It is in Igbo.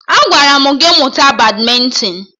Agwara m gị mụta badmịntịn!